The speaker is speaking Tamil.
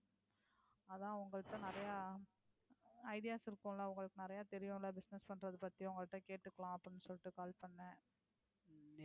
அதுதான் உங்ககிட்ட நிறைய ideas இருக்கும் இல்ல. உங்களுக்கு நிறைய தெரியும் இல்ல. Business பண்றது பத்தி உங்ககிட்ட கேட்டுக்கலாம் அப்படினு சொல்லிட்டு call பண்னேன்.